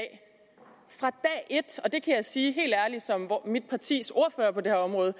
et og det kan jeg sige helt ærligt som mit partis ordfører på det her område